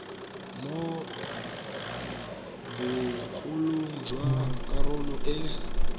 mo bogolong jwa karolo e